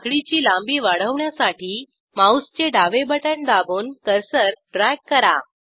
साखळीची लांबी वाढवण्यासाठी माऊसचे डावे बटण दाबून कर्सर ड्रॅग करा